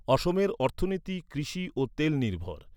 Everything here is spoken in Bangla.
অসমের অর্থনীতি কৃষি ও তেল নির্ভর।